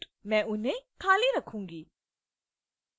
मैं उन्हें खाली रखूंगी